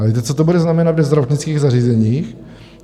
A víte, co to bude znamenat ve zdravotnických zařízeních?